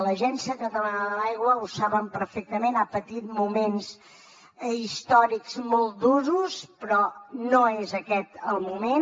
l’agència catalana de l’aigua ho saben perfectament ha patit moments històrics molt durs però no és aquest el moment